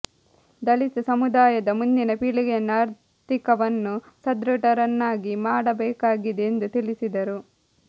ದಲಿತ ಸಮುದಾಯದ ಮುಂದಿನ ಪೀಳಿಗೆಯನ್ನು ಆರ್ಥಿಕವನ್ನು ಸದೃಢರನ್ನಾಗಿ ಮಾಡಬೇಕಾಗಿದೆ ಎಂದು ತಿಳಿಸಿದರು